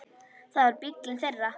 Það var bíllinn þeirra.